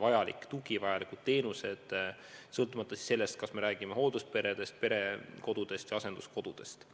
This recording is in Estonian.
vajalik tugi, vajalikud teenused, ja seda sõltumata sellest, kas me räägime hooldusperedest, perekodudest või asenduskodudest.